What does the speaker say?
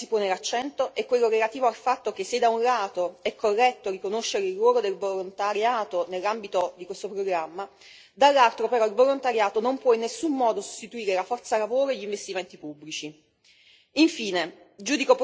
Un altro aspetto sul quale correttamente si pone l'accento è quello relativo al fatto che, se da un lato è corretto riconoscere il ruolo del volontariato nell'ambito di questo programma, dall'altro, però, il volontariato non può in nessuno modo sostituire la forza lavoro e gli investimenti pubblici.